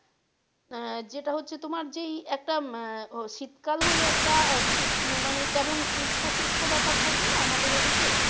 আহ যেটা হচ্ছে তোমার যেই একটা আহ শীতকাল হলে একটা উষ্ণ মানে কেমন শুষ্ক শুষ্ক ভাব থাকে না আমাদের ওদিকে,